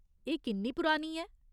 एह् किन्नी पुरानी ऐ ?